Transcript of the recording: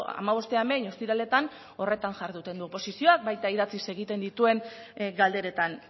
hamabostean behin ostiraletan horretan jarduten du oposizioak baita idatziz egiten dituen galderetan